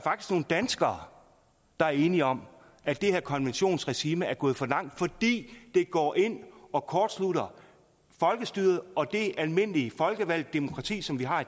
nogle danskere der er enige om at det her konventionsregime er gået for langt fordi det går ind og kortslutter folkestyret og det almindelige folkevalgte demokrati som vi har